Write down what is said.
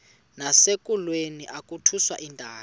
nasekulweni akhutshwe intaka